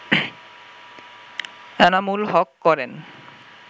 আনামুল হক করেন